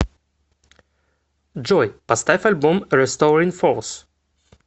джой поставь альбом ресторин форс